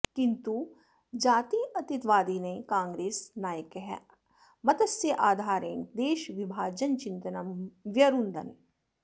किन्तु जात्यतीतवादिनः काङ्ग्रेस् नायकाः मतस्य आधारेण देशविभजनचिन्तनं व्यरुन्धन्